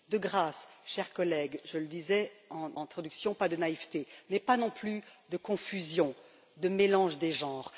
De grâce, chers collègues je le disais en introduction pas de naïveté, mais pas non plus de confusion ou de mélange des genres.